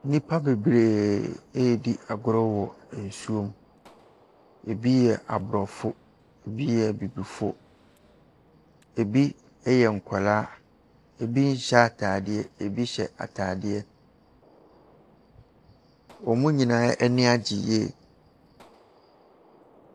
Nnipa bebree redi agorɔ wɔ nsuo mu. Ɛbi yɛ Aborɔfo, ɛbi yɛ Abibifoɔ. Ɛbi yɛ nkwadaa, ɛbi nhyɛ atadeɛ, ɛbi hyɛ atadeɛ. Wɔn nyinaa ani agye yie.